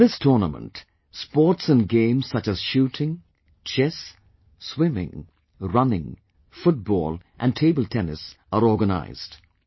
In this tournament, sports & games such as shooting, chess, swimming, running, football & tabletennis are organized